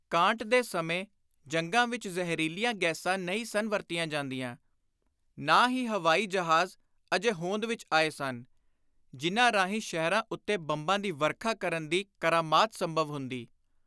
Kant ਦੇ ਸਮੇਂ ਜੰਗਾਂ ਵਿਚ ਜ਼ਹਿਰੀਲੀਆਂ ਗੈਸਾਂ ਨਹੀਂ ਸਨ ਵਰਤੀਆਂ ਜਾਂਦੀਆਂ; ਨਾ ਹੀ ਹਵਾਈ ਜਹਾਜ਼ ਅਜੇ ਹੋਂਦ ਵਿਚ ਆਏ ਸਨ, ਜਿਨ੍ਹਾਂ ਰਾਹੀਂ ਸ਼ਹਿਰਾਂ ਉੱਤੇ ਬੰਬਾਂ ਦੀ ਵਰਖਾ ਕਰਨ ਦੀ ਕਰਾਮਾਤ ਸੰਭਵ ਹੁੰਦੀ।